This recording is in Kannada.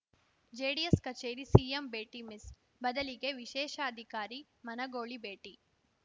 ಜೆಡಿಎಸ್‌ ಕಚೇರಿ ಸಿಎಂ ಭೇಟಿ ಮಿಸ್‌ ಬದಲಿಗೆ ವಿಶೇಷಾಧಿಕಾರಿ ಮನಗೋಳಿ ಭೇಟಿ